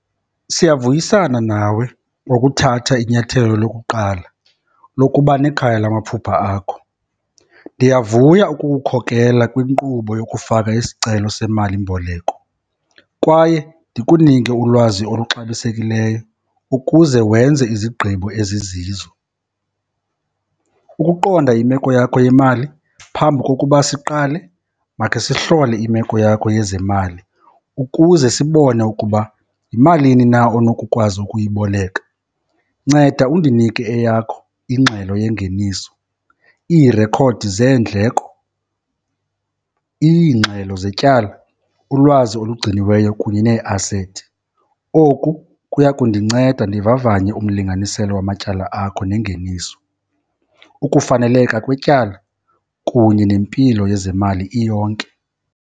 Siyavuyisana nawe ngokuthatha inyathelo lokuqala lokuba nekhaya lamaphupha akho. Ndiyavuya ukukukhokela kwinkqubo yokufaka isicelo semalimboleko kwaye ndikunike ulwazi oluxabisekileyo ukuze wenze izigqibo ezizizo. Ukuqonda imeko yakho yemali phambi kokuba siqale, makhe sihlole imeko yakho yezemali ukuze sibone ukuba yimalini na onokukwazi ukuyiboleka. Nceda undinike eyakho ingxelo yengeniso, iirekhodi zeendleko, iingxelo zetyala, ulwazi olugciniweyo kunye neeasethi. Oku kuya kundinceda ndivavanye umlinganiselo wamatyala akho nengeniso, ukufaneleka kwetyala kunye nempilo yezemali iyonke.